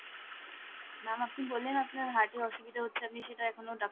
ma'am আপনি বললেন আপনার heart এ অসুবিধা হচ্ছে আপনি সেটা এখনও ডাক্তার